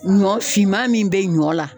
Ɲɔ finman min be ɲɔ la